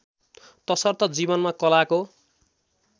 तसर्थ जीवनमा कलाको